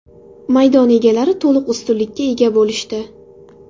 Maydon egalari to‘liq ustunlikka ega bo‘lishdi.